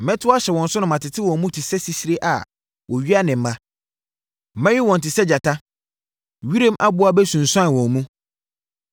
Mɛto ahyɛ wɔn so na matete wɔn mu te sɛ sisire bi a wɔawia ne mma. Mɛwe wɔn te sɛ gyata; wiram aboa bɛsunsuan wɔn mu.